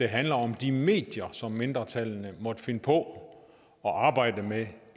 handler om de medier som mindretallene måtte finde på at arbejde med